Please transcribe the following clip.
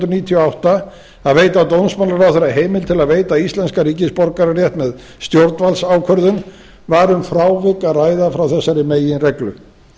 níutíu og átta að veita dómsmálaráðherra heimild til að veita íslenskan ríkisborgararétt með stjórnvaldsákvörðun var um frávik að ræða frá þessari meginreglu